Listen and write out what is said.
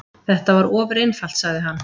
Þetta var ofureinfalt, sagði hann.